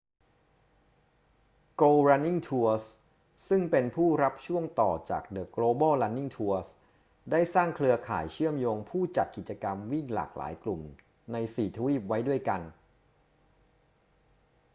go running tours ซึ่งเป็นผู้รับช่วงต่อจาก the global running tours ได้สร้างเครือข่ายเชื่อมโยงผู้จัดกิจกรรมวิ่งหลากหลายกลุ่มใน 4 ทวีปไว้ด้วยกัน